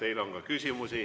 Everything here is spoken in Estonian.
Teile on ka küsimusi.